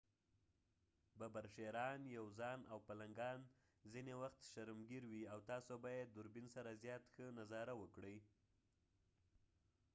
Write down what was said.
ببر شېران یوزان او پلنګان ځنه وخت شرمګیر وي او تاسو به يې دوربین سره زیات ښه نظاره وکړئ